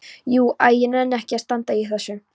Jú. æ ég nenni ekki að standa í þessu.